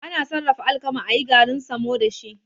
Ana Sarrafa alkama ayi garin samo dashi